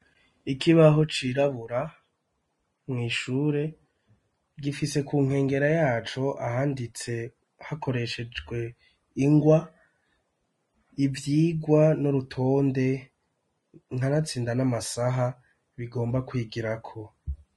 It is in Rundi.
Ikibaho cirabura mw'ishure gifise ku nkengera yacu ahanditse hakoreshejwe ingwa ivyigwa n'urutonde kanatsinda n'amasaha bigomba kwigirako.